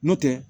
N'o tɛ